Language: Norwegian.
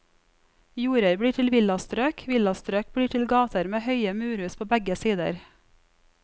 Jorder blir til villastrøk, villastrøk blir til gater med høye murhus på begge sider.